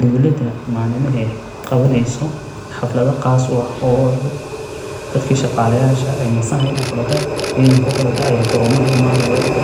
Dowlada maaninka aay qawaneyso xaflada qaas u ah oo dadka shaqaalayaasha aay nasanaayaan okoloota cidanka ayaa goroomaha imaanaayo oo